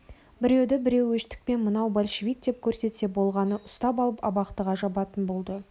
біреуді біреу өштікпен мынау большевик деп көрсетсе болғаны ұстап алып абақтыға жабатын болды